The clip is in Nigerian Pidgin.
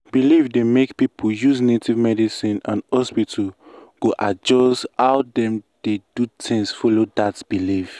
belief dey make people use native medicine and hospital go adjust how dem dey do things follow that belief.